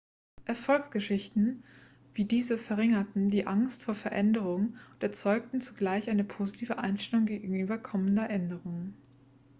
erfolgsgeschichten wie diese verringerten die angst vor veränderung und erzeugten zugleich eine positive einstellung gegenüber kommender änderungen